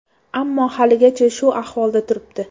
Ammo haligacha shu ahvolda turibdi.